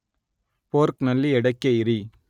ಫೋರ್ಕ್‌ನಲ್ಲಿ ಎಡಕ್ಕೆ ಇರಿ